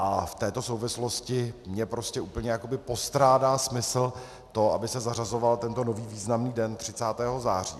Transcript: A v této souvislosti mně prostě úplně jakoby postrádá smysl to, aby se zařazoval tento nový významný den 30. září.